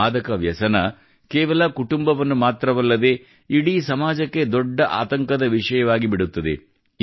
ಮಾದಕ ವ್ಯಸನ ಕೇವಲ ಕುಟುಂಬವನ್ನು ಮಾತ್ರವಲ್ಲದೇ ಇಡೀ ಸಮಾಜಕ್ಕೆ ದೊಡ್ಡ ಆತಂಕದ ವಿಷಯವಾಗಿಬಿಡುತ್ತದೆ